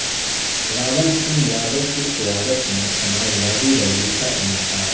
راول سنگھ یادو کی قیادت میں سماجوادی ریلی کا انعقاد